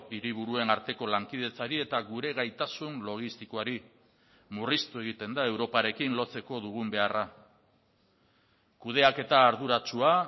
hiriburuen arteko lankidetzari eta gure gaitasun logistikoari murriztu egiten da europarekin lotzeko dugun beharra kudeaketa arduratsua